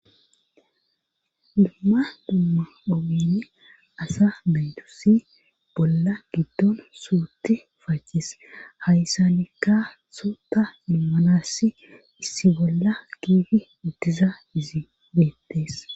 dumma dumma obyni asa maytosi bolla giddon suuti facis hayssanikka suuta immanassi issi bolla kiifi uttiza izi beettees